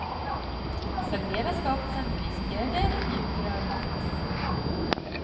Servera skapelsen med vispgrädde eller mjukrörd glass.